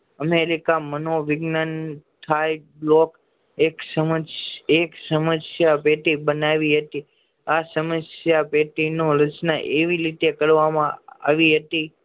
America માનો વિજ્ઞાન હાઈ બ્લોક એક સમજ એક સમશ્યા પેટી બનાવી હતી આ સમસ્યા પેટી નું રચના એવી રીતે કરવામાં આવી હતી